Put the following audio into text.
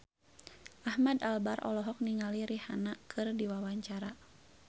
Ahmad Albar olohok ningali Rihanna keur diwawancara